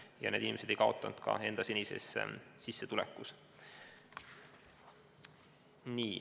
Ja need inimesed ei kaotanud ka enda senises sissetulekus.